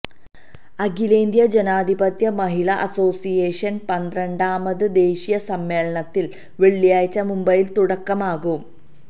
അഖിലേന്ത്യാ ജനാധിപത്യ മഹിളാ അസോസിയേഷന് പന്ത്രണ്ടാമത് ദേശീയ സമ്മേളനത്തിന് വെള്ളിയാഴ്ച മുംബൈയില് തുടക്കമാകും